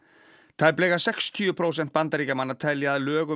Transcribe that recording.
tæplega sextíu prósent Bandaríkjamanna telja að lög um